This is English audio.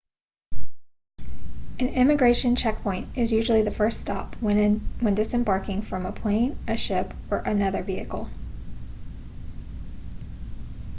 an immigration checkpoint is usually the first stop when disembarking from a plane a ship or another vehicle